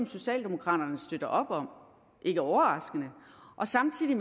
socialdemokraterne støtter op om ikke overraskende og samtidig